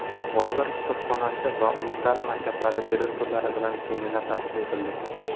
"Bolalar kutubxonasi" va umumta’lim maktablari direktorlari bilan seminar tashkil etildi.